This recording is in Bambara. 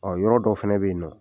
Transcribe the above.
Ɔ yɔrɔ dɔ fana bɛ yen nin nɔ.